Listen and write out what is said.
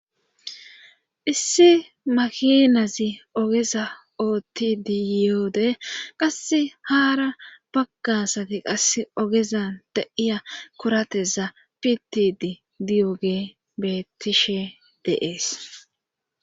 Issi makinazi ogeza oottidi yiyoode qasse haara baggasati qas ogezan de'iya korateza pitidi diyogee bettishe deees.